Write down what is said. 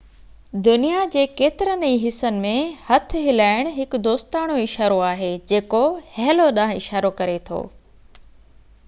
دنيا جي ڪيترن ئي حصن ۾ هٿ هلائڻ هڪ دوستاڻو اشارو آهي جيڪو هيلو ڏانهن اشارو ڪري ٿو